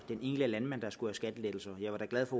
enkelte landmand der skulle have skattelettelser jeg var da glad for